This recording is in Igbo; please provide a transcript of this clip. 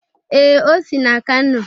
Ee, o si n'Kano.